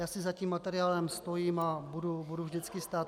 Já si za tím materiálem stojím a budu vždycky stát.